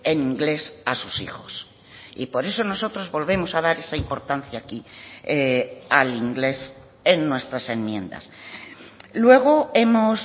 en inglés a sus hijos y por eso nosotros volvemos a dar esa importancia aquí al inglés en nuestras enmiendas luego hemos